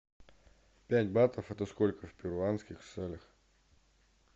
пять батов это сколько в перуанских солях